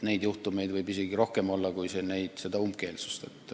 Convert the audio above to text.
Neid juhtumeid võib isegi olla rohkem kui umbkeelsust.